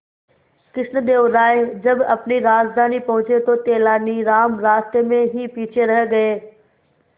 कृष्णदेव राय जब अपनी राजधानी पहुंचे तो तेलानीराम रास्ते में ही पीछे रह गए